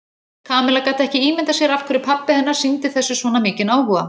Kamilla gat ekki ímyndað sér af hverju pabbi hennar sýndi þessu svona mikinn áhuga.